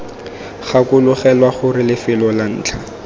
gakologelwa gore lefelo la ntlha